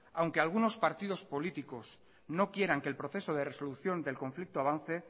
aunque algunos partidos políticos no quieran que el proceso de resolución del conflicto avance